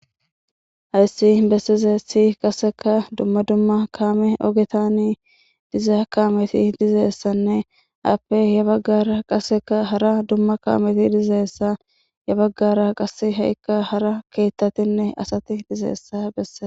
hayssi bessize si qaseka dumma dumma kaame ogetanii diza kaameti dizeessanne appe ya baggara qaseka hara dumma kaameti dizeessa ya baggara qas ha7ikka hara keettatinne asati dizeessa bessea